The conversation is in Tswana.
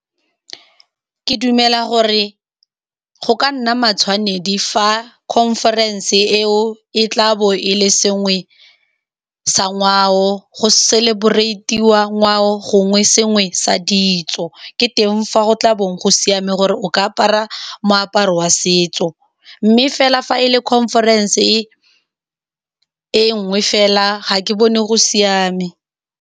Ke dumela gore go ka nna matshwanedi fa conference eo e tlabo e le sengwe sa ngwao, go celebrate-iwa ngwao gongwe sengwe sa ditso. Ke teng fa go tlabo go siame gore o ka apara moaparo wa setso, mme fela fa e le conference e e nngwe fela, ga ke bone go siame.